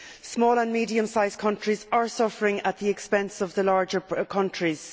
Small and medium sized countries are suffering at the expense of the larger countries.